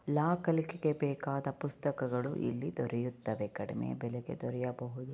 ಲಾ ಕಲಿಕೆಗೆ ಬೇಕಾದ ಪುಸ್ತಕಗಳು ಇಲ್ಲಿ ದೊರೆಯುತ್ತವೆ ಕಡಿಮೆ ಬೆಲೆಗೆ ದೊರೆಯಬಹುದು.